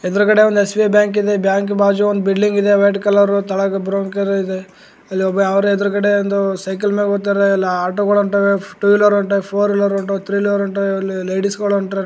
ಎದ್ರಗಡೆ ಒಂದ್ SBI bank ಇದೆ bank ಬಾಜು ಒಂದು ಬಿಲ್ಡಿಂಗ್ ಇದೆ ವೈಟ್ ಕಲರು ತಳಾಕ್ ಬ್ರೌನ್ ಕಲರ್ ಇದೆ ಇಲ್ಲಿ ಒಬ್ಬ ಯಾವನೋ ಎದ್ರುಗಡೆ ಒಂದು ಸೈಕಲ್ನಾಗ್ ಹೊತ್ತಾರೆ ಇಲ್ಲ ಆಟೋಗಳ್ ಹೊಂಟವೇ ಟೂ ವೀಲರ್ ಹೊಟವೇ ಫೋರ್ ವೀಲರ್ ಹೊಂಟವೇ ಥ್ರೀ ವೀಲರ್ ಹೊಂಟವೇ ಲೇಡೀಸ್ ಗಳು ಹೊಂಟವೇ ನಡ್ಕಂತಾ.